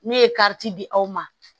Ne ye di aw ma